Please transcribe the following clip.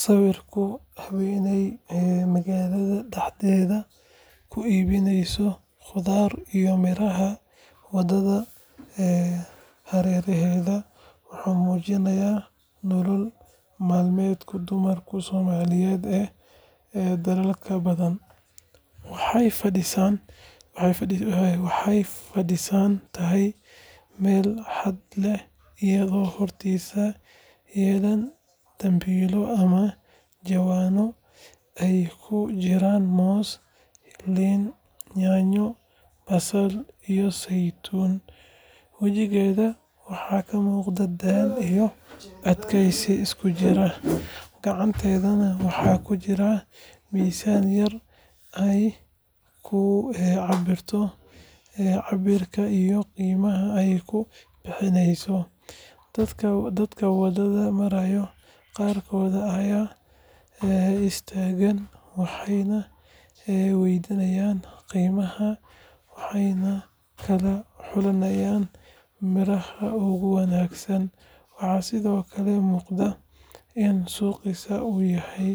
Sawirka haweeney magaalada dhexdeeda ku iibinaysa khudaar iyo miraha waddada hareeraheeda wuxuu muujinayaa nolol maalmeedka dumarka Soomaaliyeed ee dadaalka badan. Waxay fadhiisan tahay meel hadh leh iyadoo hortiisa yaallaan dambiilo ama jawaano ay ku jiraan moos, liin, yaanyo, basal iyo saytuun. Wajigeeda waxaa ka muuqda daal iyo adkaysi isku jira, gacanteedana waxaa ku jira miisaan yar ay ku cabbirto cabbirka iyo qiimaha ay ku bixinayso. Dadka wadada maraya qaarkood way istaagayaan, waxay waydiinayaan qiimaha waxayna kala xulayaan midhaha ugu wanaagsan. Waxaa sidoo kale muuqata in suuqaasi uu yahay